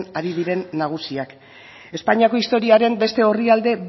ari diren nagusiak espainiako historiaren beste orrialde